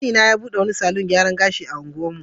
Kanina ya bude wani salon gyaran gashi a unguwarmu.